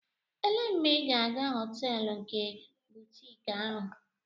Elee mgbe ị ga-aga họteelu nke butiiki ahụ?